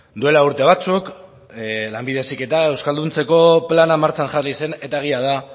duela urte batzuk lanbide heziketa euskalduntzeko plana martxan jarri zen eta egia da